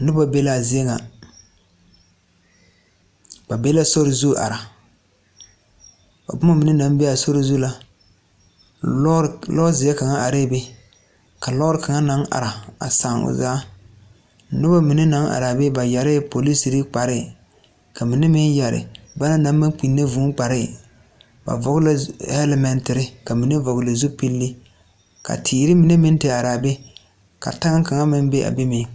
Noba be la a zie ŋa, ba be la soro zu are, a boma mine naŋ be a soro zu la, lɔroo zeɛ kaŋ are be, ka lɔroo kaŋ naŋ are a saa o zaa, noba mine naŋ are a be, ka mine yɛree polisiri kpɛre, ka mine meŋ yɛree ba na naŋ maŋ kpinne vɔɔ kpare, ba vɔŋle la helmaŋ tere ka mine vɔŋle zopile ka teree mine meŋ are a be, ka taŋ